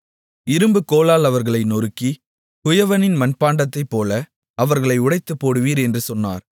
இரும்புக் கோலால் அவர்களை நொறுக்கி குயவனின் மண்பாண்டத்தைப்போல் அவர்களை உடைத்துப்போடுவீர் என்று சொன்னார்